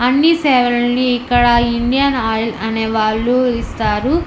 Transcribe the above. అన్ని సేవలని ఇక్కడ ఇండియన్ ఆయిల్ అనే వాళ్ళు ఇస్తారు.